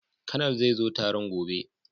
Konal zai zo taron gobe